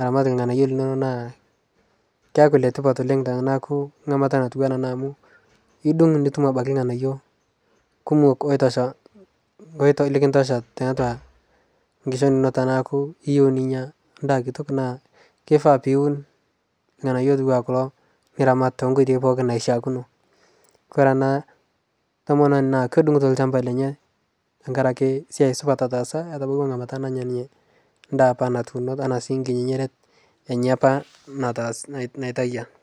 aramat lghanayo linono naa keaku letipat oleng tanaaku nghamata amu idung nitum abaki lghanayo kumok oitosha, likintosha taatua nkishon tanaaku iyeu ninya kitok naa keifaa piwun lghanayo otuwa kuloo niramat tenkoitei pooki naishiakino kore ana tomononi kedungutoo lshampa lenye tankarake siai supat otaasa netabauwa ngamata nanya ninye ndaa apa natuuno tanaa sii nkinyiret enye apaa naitaiya